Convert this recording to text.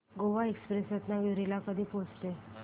Goa express Ratnagiri ला कधी पोहचते